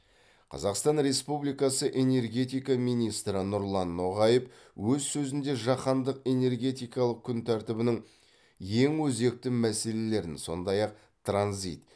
қазақстан республикасы энергетика министрі нұрлан ноғаев өз сөзінде жаһандық энергетикалық күн тәртібінің ең өзекті мәселелерін сондай ақ транзит